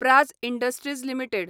Praj Industries limited